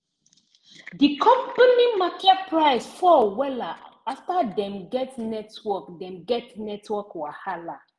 di company market price fall wella after dem get network dem get network wahala